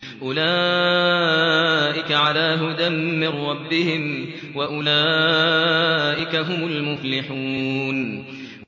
أُولَٰئِكَ عَلَىٰ هُدًى مِّن رَّبِّهِمْ ۖ وَأُولَٰئِكَ هُمُ الْمُفْلِحُونَ